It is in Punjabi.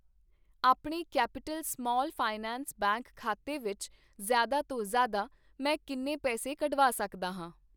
ਆਪਣੇ ਕੈਪੀਟਲ ਸਮਾਲ ਫਾਈਨਾਂਸ ਬੈਂਕ ਖਾਤੇ ਵਿੱਚ ਜ਼ਿਆਦਾ ਤੋਂ ਜ਼ਿਆਦਾ, ਮੈਂ ਕਿੰਨੇ ਪੈਸੇ ਕੱਢਵਾ ਸਕਦਾ ਹਾਂ ?